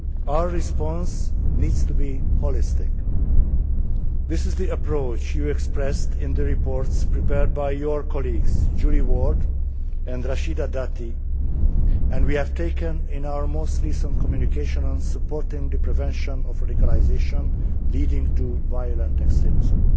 Our response needs to be holistic. This is the approach you expressed in the reports prepared by your colleagues Julia Ward and Rachida Dati, and we have taken in our most recent communication on supporting the prevention of radicalisation leading to violent extremism.